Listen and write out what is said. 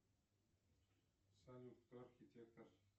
салют кто архитектор